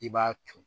I b'a ton